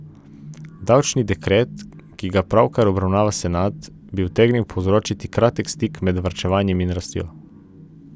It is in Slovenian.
Davčni dekret, ki ga pravkar obravnava senat, bi utegnil povzročiti kratek stik med varčevanjem in rastjo.